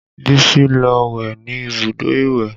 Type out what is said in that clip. Bísí lọ wẹ̀ ní ibùdó ìwẹ̀